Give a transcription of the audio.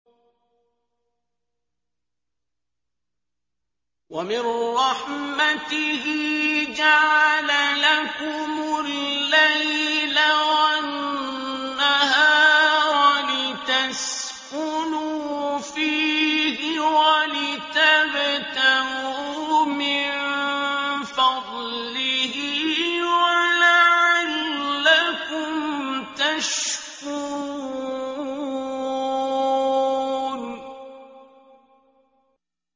وَمِن رَّحْمَتِهِ جَعَلَ لَكُمُ اللَّيْلَ وَالنَّهَارَ لِتَسْكُنُوا فِيهِ وَلِتَبْتَغُوا مِن فَضْلِهِ وَلَعَلَّكُمْ تَشْكُرُونَ